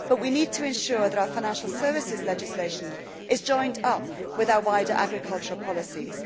We need, however, to ensure that our financial services legislation is joined up with our wider agricultural policies.